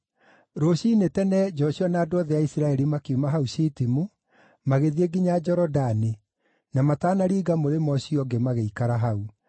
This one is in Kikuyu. Rũciinĩ tene Joshua na andũ othe a Isiraeli makiuma hau Shitimu, magĩthiĩ nginya Jorodani, na matanaringa mũrĩmo ũcio ũngĩ magĩikara hau.